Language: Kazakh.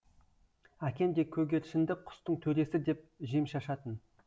әкем де көгершінді құстың төресі деп жем шашатын